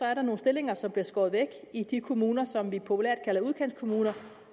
er nogle stillinger som bliver skåret væk i de kommuner som vi populært kalder udkantskommuner